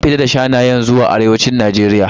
An fita da shanayen zuwa arewacin Najeriya.